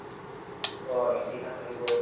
অ ইতিহাসও আহিব